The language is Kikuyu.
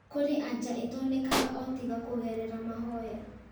Kũrĩ anja itonekanaga o tiga kũgerera mahoya